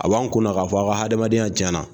A b'an kun k'a fɔ aw ka adamadenya tiɲa na.